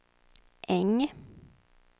Äng